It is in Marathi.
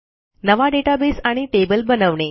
नवा डेटाबेस आणि टेबल बनवणे